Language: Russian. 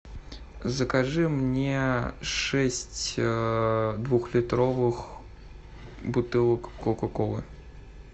закажи мне шесть двухлитровых бутылок кока колы